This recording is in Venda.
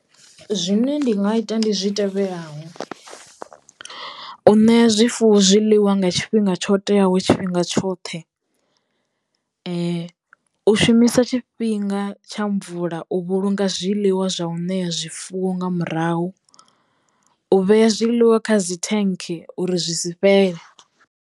Zwine ndi nga ita ndi zwi tevhelaho u ṋea zwifuwo zwiḽiwa nga tshifhinga tsho teaho tshifhinga tshoṱhe. U shumisa tshifhinga tsha mvula u vhulunga zwiḽiwa zwa u ṋea zwifuwo nga murahu, u vhea zwiḽiwa kha dzi thenke uri zwi si fhele.